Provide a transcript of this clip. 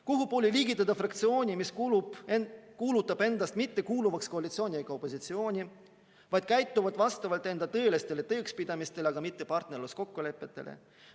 Kuhupoole liigitada fraktsioon, mis kuulutab ennast mittekuuluvaks koalitsiooni ega opositsiooni, vaid käitub vastavalt enda tõelistele tõekspidamistele, aga mitte partnerluskokkulepetele?